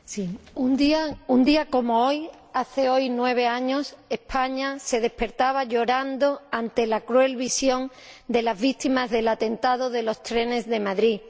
Señor Presidente, un día como hoy hace nueve años, España se despertaba llorando ante la cruel visión de las víctimas del atentado de los trenes de Madrid.